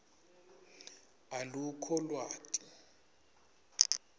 alukho lwati